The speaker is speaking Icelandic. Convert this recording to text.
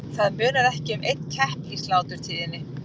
Það munar ekki um einn kepp í sláturtíðinni.